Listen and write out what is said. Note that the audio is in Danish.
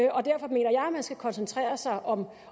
man skal koncentrere sig om